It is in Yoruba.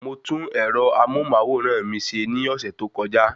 Mo tún ẹ̀rọ amóhùnmáwòrán mi ṣe ní ọ̀sẹ̀ tó kọjá